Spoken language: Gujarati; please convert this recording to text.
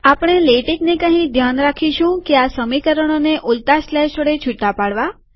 આપણે લેટેકને કહી ધ્યાન રાખીશું કે આ સમીકરણોને ઉલટા સ્લેશ વડે છુટા પાડવા